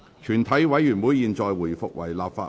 全體委員會現在回復為立法會。